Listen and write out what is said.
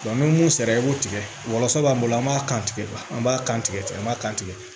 ni mun sera i b'o tigɛ wɔlɔsɔ b'an bolo an b'a kan tigɛ an b'a kan tigɛ tigɛ an m'a kan tigɛ